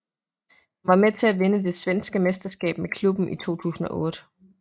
Han var med til at vinde det svenske mesterskab med klubben i 2008